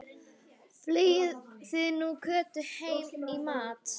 Fylgið þið nú Kötu heim í matinn